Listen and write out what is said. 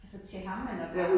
Altså til ham eller hvad?